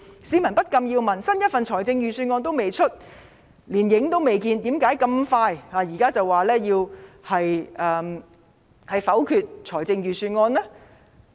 市民不禁要問：來年的預算案仍未公布，連影子也未看見，他們為何那麼快，現在便明言否決來年的預算案呢？